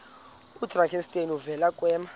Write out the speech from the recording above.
oyidrakenstein uvele kwema